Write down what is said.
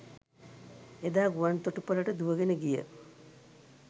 එදා ගුවන් තොටුපළට දුවගෙන ගිය